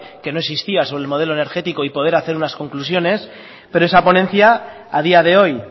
que no existía sobre el modelo energético y poder hacer unas conclusiones pero esa ponencia a día de hoy